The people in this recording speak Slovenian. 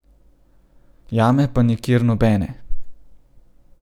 Jame pa nikjer nobene.